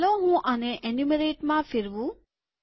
ચાલો હું આને એન્યુમરેટમાં ફેરવું